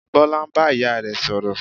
Bọlá ń bá ìyá rẹ̀ sọ̀rọ̀